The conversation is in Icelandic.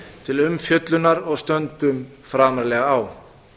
til umfjöllunar og stöndum framarlega á